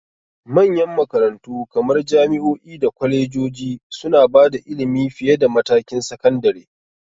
Manyan makarantu kamar jami'o'i da kwalejoji suna ba da ilimi fiye da matakin sakandare.